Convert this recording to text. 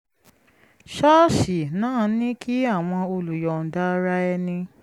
ṣọ́ọ̀ṣì náà ní kí àwọn olùyọ̀ǹda ara ẹni